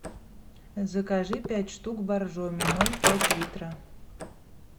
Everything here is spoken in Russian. закажи пять штук боржоми ноль пять литра